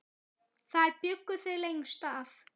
Þar bjuggu þau lengst af.